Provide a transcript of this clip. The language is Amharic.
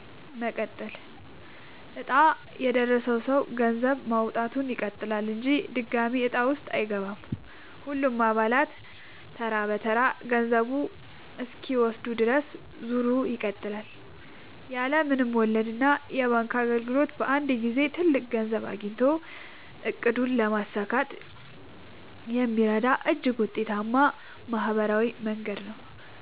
መቀጠል፦ ዕጣ የደረሰው ሰው ገንዘብ ማዋጣቱን ይቀጥላል እንጂ ድጋሚ ዕጣ ውስጥ አይገባም። ሁሉም አባላት ተራ በተራ ገንዘቡን እስኪወስዱ ድረስ ዙሩ ይቀጥላል። ያለ ምንም ወለድና የባንክ እንግልት በአንድ ጊዜ ትልቅ ገንዘብ አግኝቶ ዕቅድን ለማሳካት የሚረዳ እጅግ ውጤታማ ማህበራዊ መንገድ ነው።